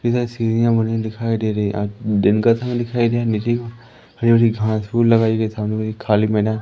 इतनी सारी सीढ़ियां बनी दिखाई दे रही है आ दिन का समय दिखाई दे रहा है हरी भरी घास फूल लगाई गई है सामने खाली मैदान--